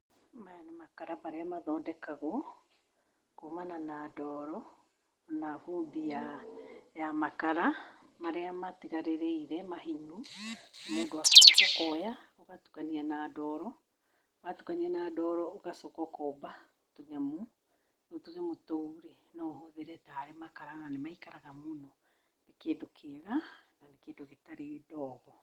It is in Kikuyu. Maya nĩ makara marĩa mathondekagwo kumana na ndoro na vumbi ya makara marĩa matigarĩrĩire mahinyu, mũndũ akoya, ũgatukania na ndoro, watukania a ndoro, ũgacoka ũkomba tũnyamũ, rĩu tũnyamũ tũu no ũhũthĩre tarĩ makara na nĩmaikaraga mũno, nĩ kĩndũ kĩega na nĩ kĩndũ gĩtarĩ ndogo.